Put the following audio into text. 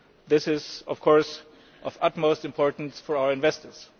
This is, of course, of utmost importance for our investors.